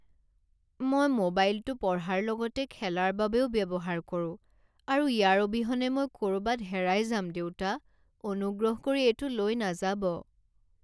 মই মোবাইলটো পঢ়াৰ লগতে খেলাৰ বাবেও ব্যৱহাৰ কৰো আৰু ইয়াৰ অবিহনে মই ক'ৰবাত হেৰাই যাম দেউতা। অনুগ্ৰহ কৰি এইটো লৈ নাযাব।